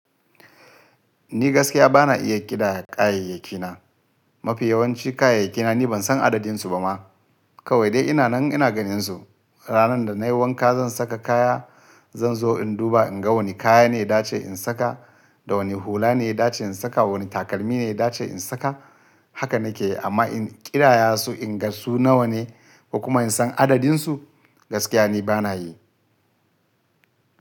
Ni gaskiya ba na iya ƙidaya kayayyakina. Mafi yawanci kayayyakina ni ban san adadin su ba ma. Kawai dai ina nan ina ganin su. Ranar da nayi wanka zan saka kaya, zan zo in duba in ga wane kaya ne da ce in saka da wane hula ne da ce in saka, wane takalmi ne da ce in saka. Haka na ke yi amma in ƙidaya su in ga su nawa ne kuma in san adadin su, gaskiya ni ba na yi.